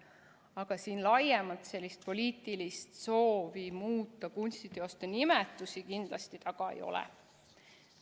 Aga siin laiemalt sellist poliitilist soovi muuta kunstiteoste nimetusi kindlasti taga ei ole.